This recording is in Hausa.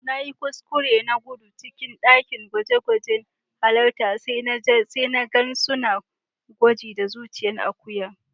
Na yi kuskure na gudu cikin dakin gwaje-gwajen hattara sai na gan suna gwaji da zuciyan Akuya.